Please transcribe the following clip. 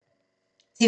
TV 2